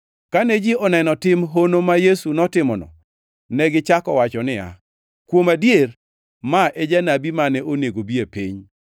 Kane ji oneno tim hono ma Yesu notimono, negichako wacho niya, “Kuom adier, ma e janabi mane onego bi e piny.”